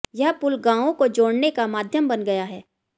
यह पुल गांवों को जोड़ने का माध्यम बन गया है